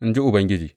In ji Ubangiji.